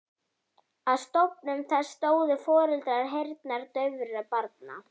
Að stofnun þess stóðu foreldrar heyrnardaufra barna.